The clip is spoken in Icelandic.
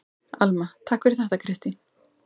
Alma: Takk fyrir þetta Kristín.